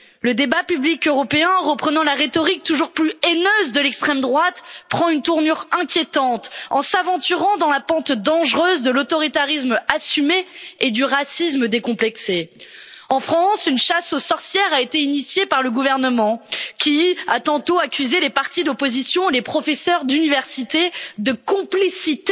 Le débat public européen, en reprenant la rhétorique toujours plus haineuse de l'extrême droite, prend une tournure inquiétante en s'aventurant dans la pente dangereuse de l'autoritarisme assumé et du racisme décomplexé. En France, une chasse aux sorcières a été initiée par le gouvernement, qui a tantôt accusé les partis d'opposition, les professeurs d'université, de complicité